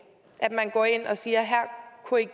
at man går ind og siger at